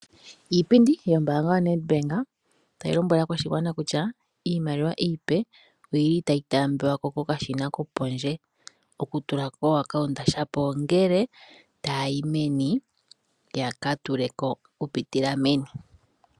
Iipindi yombaanga yoNedbank, tayi lombwele aakwashigwana kutya iimaliwa iipe oyi li itaayi taambiwako kokashina kopondje, okutula kokambo, shapo ongele tayayi meni, yaka tuleko okupitila meni.